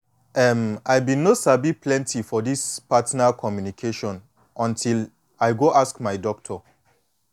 em i been no sabi plenty for this partner communication until i go ask my doctor